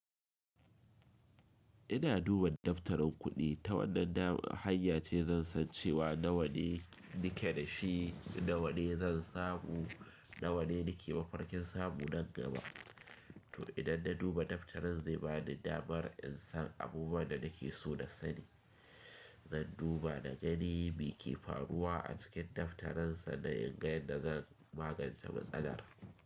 Ina duba daftarin kuɗi ta wannan hanya ce zan san cewa nawa ne nike da shi, nawa ne zan samu, nawa ne nike mafarkin samu nan gaba. To idan na duba daftarin zai bani damar in san abubuwan da nake so na sani. Zan duba na gani me ke faruwa a cikin daftaren sanan inga yadda zan magance matsalar.